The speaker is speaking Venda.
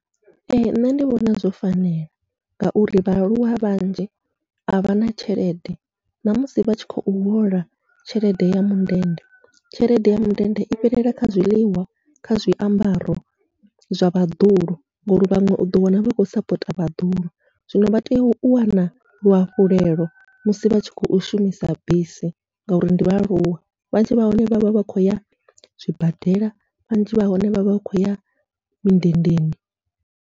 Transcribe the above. Ee nṋe ndi vhona zwo fanela, ngauri vhaaluwa vhanzhi avha na tshelede namusi vha tshi khou hola tshelede ya mundende tshelede ya mindende i fhelela kha zwiḽiwa, kha zwiambaro zwa vhaḓuhulu ngori vhaṅwe uḓo wana vha khou sapota vhaḓuhulu. Zwino vha tea u wana luhafhulelo musi vhatshi khou shumisa bisi, ngauri ndi vhaaluwa vhanzhi vha hone vha vha vha khou ya zwibadela vhanzhi vha hone vha vha khou ya mindendeni.